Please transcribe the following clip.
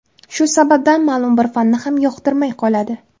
Shu sababdan ma’lum bir fanni ham yoqtirmay qoladi!